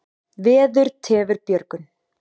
Veður tefur björgun.